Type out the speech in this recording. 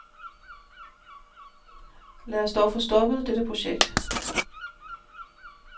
Lad os dog få stoppet dette projekt.